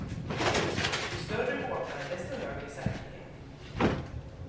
Ju större båtar desto högre säkerhet.